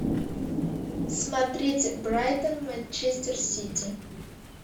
смотреть брайтон манчестер сити